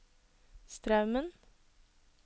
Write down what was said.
Straumen